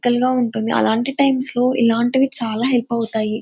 తంగా ఉంటుంది అలాంటి టైమ్స్ లో ఇలాంటివి చాలా హెల్ప్ అవుతాయి.